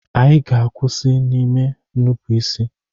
Ị ga-akwụsị n'ime nnupụisi!